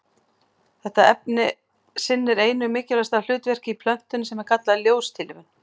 Þetta efni sinnir einu mikilvægasta hlutverkinu í plöntunni sem er kallað ljóstillífun.